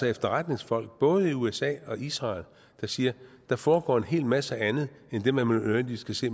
efterretningsfolk både i usa og israel der siger at der foregår en hel masse andet end det man nødvendigvis kan se